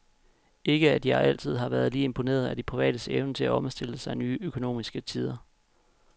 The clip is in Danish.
Ikke at jeg altid har være lige imponeret af de privates evne til at omstille sig nye økonomiske tider.